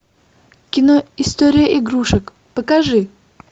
кино история игрушек покажи